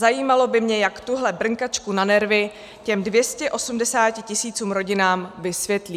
Zajímalo by mě, jak tuhle brnkačku na nervy těm 280 tisícům rodinám vysvětlí.